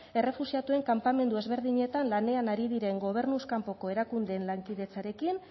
errefuxiatuen kanpamendu ezberdinetan lanean ari diren gobernuz kanpoko erakundeen lankidetzarekin